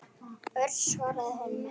Örn svaraði honum ekki.